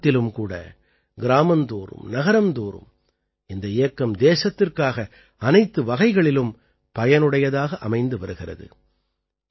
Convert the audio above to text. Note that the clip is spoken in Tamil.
சமூகத்திலும் கூட கிராமந்தோறும் நகரம்தோறும் இந்த இயக்கம் தேசத்திற்காக அனைத்து வகைகளிலும் பயனுடையதாக அமைந்து வருகிறது